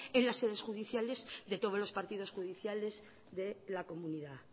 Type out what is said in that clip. en las sedes judiciales de todos los partidos judiciales de la comunidad